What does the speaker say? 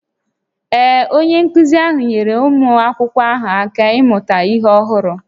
Ee, onye nkụzi ahụ nyeere ụmụ akwụkwọ ahụ aka ịmụta ihe ọhụrụ